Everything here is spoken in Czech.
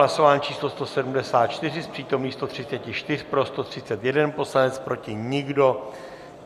Hlasování číslo 174, z přítomných 134 pro 131 poslanec, proti nikdo.